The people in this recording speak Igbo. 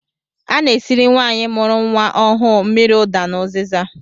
A na-esiri nwaanyị mụrụ nnwa ọhụụ mmiri ụda na ụzịza